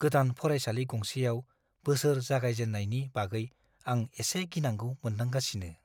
गोदान फरायसालि गंसेयाव बोसोर जागायजेननायनि बागै आं एसे गिनांगौ मोनदांगासिनो।